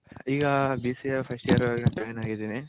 ಈಗ B C A first year join ಆಗಿದಿನಿ.